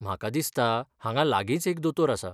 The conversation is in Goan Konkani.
म्हाका दिसता, हांगा लागींच एक दोतोर आसा.